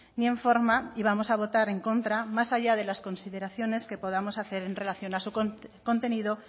ni en forma y vamos a votar en contra más allá de las consideraciones que podamos hacer en relación a su contenido